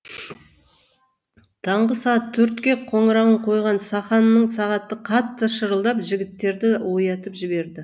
таңғы сағат төртке қоңырауын қойған сақанның сағаты қатты шырылдап жігіттерді оятып жіберді